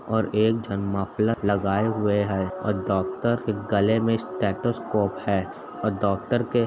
और एक जन मफ़लर लगाए हुए है और डॉक्टर के गले में स्टेटोस्कोप है और डॉक्टर के --